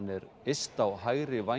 er yst á hægri væng